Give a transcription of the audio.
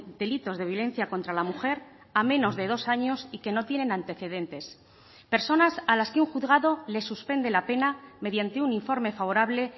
delitos de violencia contra la mujer a menos de dos años y que no tienen antecedentes personas a las que un juzgado les suspende la pena mediante un informe favorable